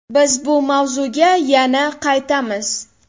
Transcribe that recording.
Biz bu mavzuga yana qaytamiz!